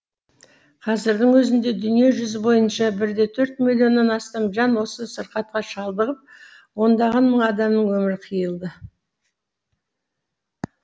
қазірдің өзінде дүние жүзі бойынша бір де төрт миллионнан астам жан осы сырқатқа шалдығып ондаған мың адамның өмірі қиылды